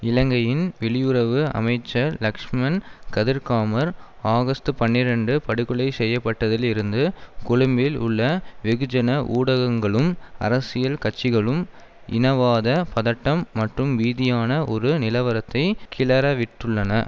இலங்கையின் வெளியுறவு அமைச்சர் லக்ஷ்மன் கதிர்காமர் ஆகஸ்ட் பனிரண்டு படுகொலை செய்ய பட்டதில் இருந்து கொழும்பில் உள்ள வெகுஜன ஊடகங்களும் அரசியல் கட்சிகளும் இனவாத பதட்டம் மற்றும் பீதியான ஒரு நிலவரத்தை கிளறவிட்டுள்ளன